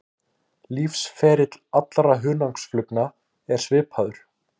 Lífsferill allra hunangsflugna er svipaður.